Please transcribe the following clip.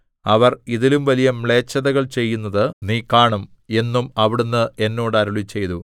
അവർ ഇതിലും വലിയ മ്ലേച്ഛതകൾ ചെയ്യുന്നത് നീ കാണും എന്നും അവിടുന്ന് എന്നോട് അരുളിച്ചെയ്തു